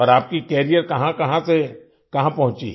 और आपकी कैरियर कहाँकहाँ से कहाँ पहुँची